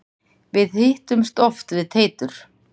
Við hittumst oft við Teitur.